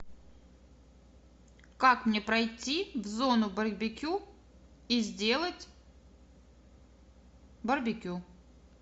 как мне пройти в зону барбекю и сделать барбекю